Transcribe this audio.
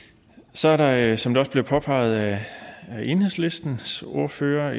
så er der som det også bliver påpeget af enhedslistens ordfører